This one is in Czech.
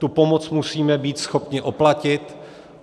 Tu pomoc musíme být schopni oplatit.